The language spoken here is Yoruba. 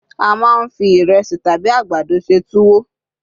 a ma n fi iresi tabi àgbàdo se tuwo